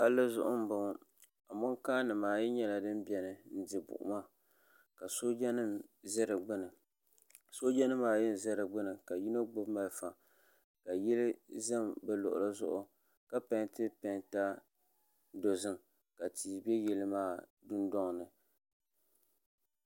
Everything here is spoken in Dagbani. Palli zuɣu n boŋo amonkaa nimaayi nyɛla din biɛni n di buɣuma ka sooja nim ʒɛ di gbuni sooja nimaayi n ʒɛ di gbuni ka yino gbubi malifa ka yili ʒɛ bi luɣuli zuɣu ka peenti peenta dozim ka tia bɛ yili maa dundoŋni